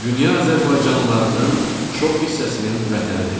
Dünya azərbaycanlılarının çox hissəsinin vətənidir.